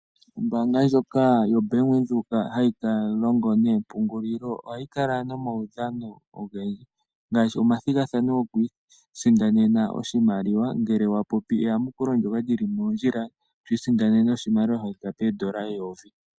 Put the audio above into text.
Ombaanga ndjoka yo Bank Windhoek hayi longo noompungulilo ohayi kala nomaudhano ogendji ngaashi omathigathano gokwii sindanena oshimaliwa ngele wapopi eyamukulo ndyoka lyili mondjila, etwii sindanene oshimaliwa shathika poondola eyovi.